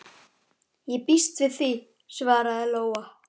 Ég býst við því, svaraði Lóa.